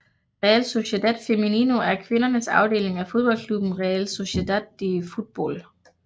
Real Sociedad Femenino er kvindernes afdeling af fodboldklubben Real Sociedad de Fútbol